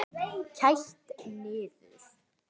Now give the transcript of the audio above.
Kælt niður.